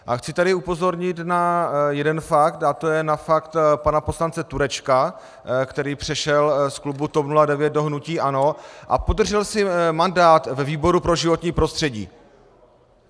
A chci tady upozornit na jeden fakt a to je na fakt pana poslance Turečka, který přešel z klubu TOP 09 do hnutí ANO a podržel si mandát ve výboru pro životní prostředí.